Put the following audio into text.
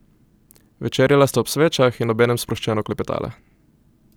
Večerjala sta ob svečah in obenem sproščeno klepetala.